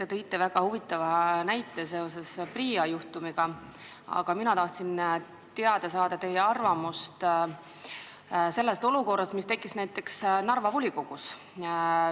Te tõite väga huvitava näite seoses PRIA juhtumiga, aga mina tahtsin teada saada teie arvamust selle olukorra kohta, mis on tekkinud Narva volikogus.